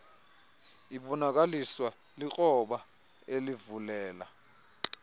ibonakaliswa likroba elivulela